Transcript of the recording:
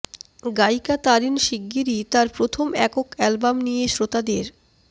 গায়িকা তারিন শিগগিরই তার প্রথম একক অ্যালবাম নিয়ে শ্রোতাদের